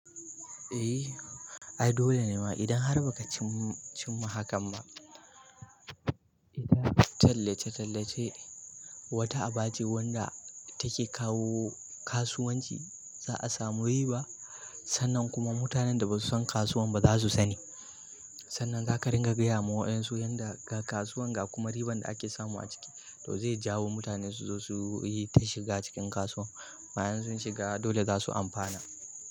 Ehh, ai dole nema idan har bakacim, cimma hakan ba tallace tallace wata abace wadda take kawo kasuwanci, za'asamu riba. Sannan kuma mutanen da ba su san kasuwan ba za su sani. Sannan za ka ringa gaya ma wayensu yanda ga kasuwan ga kuma riban da ake samu a ciki. To zai jawo mutane su zo su yi ta shiga cikin kasuwan. Wayen sun shiga dole za su amfana.